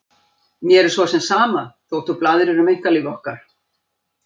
Mér er svo sem sama þótt þú blaðrir um einkalíf okkar.